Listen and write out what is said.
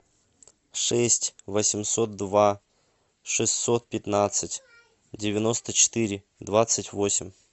шесть восемьсот два шестьсот пятнадцать девяносто четыре двадцать восемь